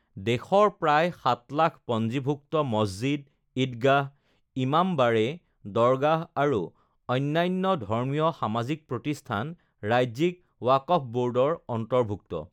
দেশৰ প্ৰায় ৭লাখ পঞ্জীভুক্ত মছজিদ, ইদগাহ, ইমামবাড়ে, দৰগাহ আৰু অন্যান্য ধৰ্মীয়, সামাজিক প্ৰতিষ্ঠান ৰাজ্যিক ৱাকফ ব'ৰ্ডৰ অন্তৰ্ভুক্ত